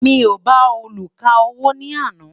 mí o bá oluka owó ní àná